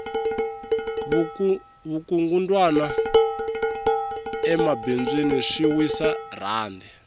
vukungundwani emabindzwini swi wisa rhandi